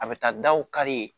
A bɛ taa daw kari